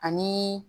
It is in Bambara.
Ani